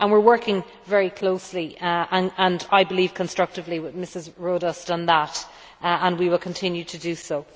We are working very closely and I believe constructively with Mrs Rodust on that and we will continue to do so.